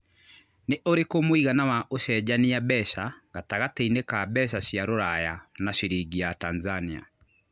nĩ ũrikũ mũigana wa ũcenjanĩa mbeca gatagatĩinĩ ka mbeca cia rũraya na ciringi ya Tanzania